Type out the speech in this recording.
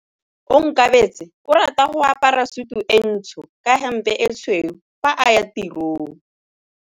Onkabetse o rata go apara sutu e ntsho ka hempe e tshweu fa a ya tirong.